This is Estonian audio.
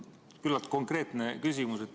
Mul on küllalt konkreetne küsimus.